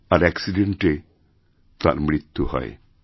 আর অ্যাকসিডেন্টে তার মৃত্যু হয়